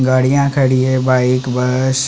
गाड़ियाँ खड़ी है बाइक बस --